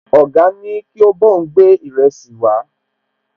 Ọ̀gá ní kí ó bá òun gbé ìrẹsì wàá